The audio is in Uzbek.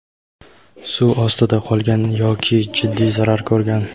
suv ostida qolgan yoki jiddiy zarar ko‘rgan.